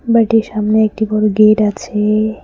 বাড়িটির সামনে একটি বড়ো গেট আছে।